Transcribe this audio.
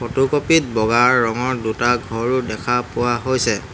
Photocopy ত বগা ৰঙৰ দুটা ঘৰো দেখা পোৱা হৈছে।